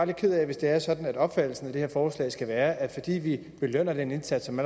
lidt ked af hvis det er sådan at opfattelsen af det her forslag skal være at fordi vi belønner den indsats som